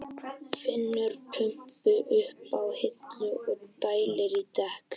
Finnur pumpu uppi á hillu og dælir í dekkin.